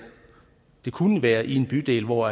det kunne være i en bydel hvor